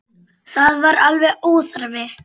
Það var alveg óþarfi.